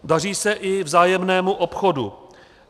Daří se i vzájemnému obchodu.